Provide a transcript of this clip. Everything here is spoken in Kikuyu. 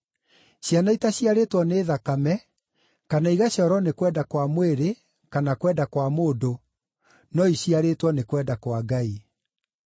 ciana itaciarĩtwo nĩ thakame, kana igaciarwo nĩ kwenda kwa mwĩrĩ kana kwenda kwa mũndũ, no iciarĩtwo nĩ kwenda kwa Ngai.